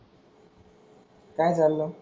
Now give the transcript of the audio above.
काय चाललंय?